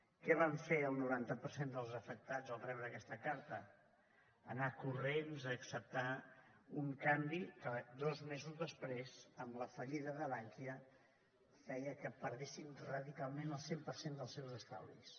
què van fer el noranta per cent dels afectats al rebre aquesta carta anar corrents a acceptar un canvi que dos mesos després amb la fallida de bankia feia que perdessin radicalment el cent per cent dels seus estalvis